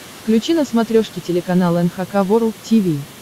включи на смотрешке телеканал эн эйч кей волд ти ви